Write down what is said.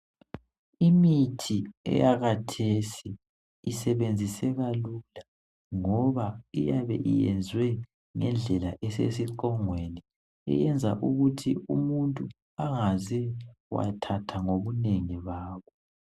Imithi yakulezinsuku isebenziseka lula ngoba iyabe iyenzwe ngendlela esesiqongweni iyenza ukuthi umuntu angaze wathatha ngobunengi bawo.